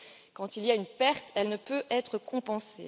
Quand il y a une perte, elle ne peut être compensée.